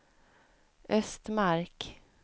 Östmark